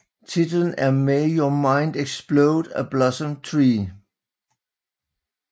Titlen er May Your Mind Explode a Blossom Tree